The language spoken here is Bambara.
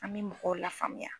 An bɛ mɔgɔw la faamuya